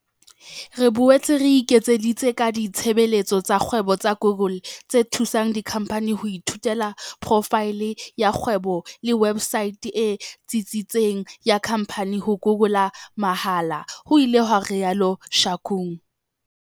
"Re boetse re ekeditse ka ditshebeletso tsa kgwebo tsa Google, tse thusang dikhamphani ho ithuela porofaele ya kgwebo le websaete e tsitsitseng ya khamphani ho Google mahala," ho ile ha rialo Shakung.